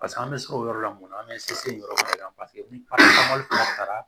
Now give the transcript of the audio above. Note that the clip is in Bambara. Paseke an bɛ siran o yɔrɔ la mun na an bɛ se o yɔrɔ de la paseke ni taara